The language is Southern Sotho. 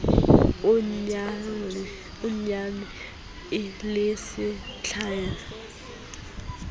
o nyallane le se tlalehwang